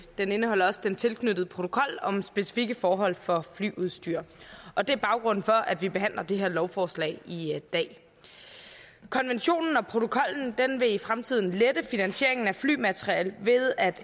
den indeholder også den tilknyttede protokol om specifikke forhold for flyudstyr og det er baggrunden for at vi behandler det her lovforslag i dag konventionen og protokollen vil i fremtiden lette finansieringen af flymateriel ved at